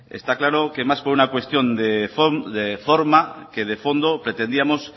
está claro que más por una cuestión de forma que de fondo pretendíamos